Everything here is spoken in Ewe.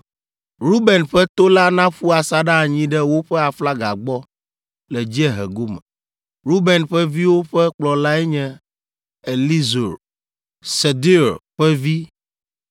Ruben ƒe to la naƒu asaɖa anyi ɖe woƒe aflaga gbɔ le dziehe gome. Ruben ƒe viwo ƒe kplɔlae nye Elizur, Sedeur ƒe vi,